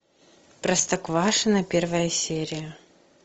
простоквашино первая серия